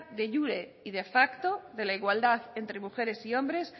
de iure y de facto de la igualdad entre mujeres y hombres